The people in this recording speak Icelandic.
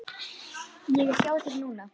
Ég er hjá þér núna.